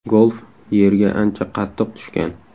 Golf yerga ancha qattiq tushgan.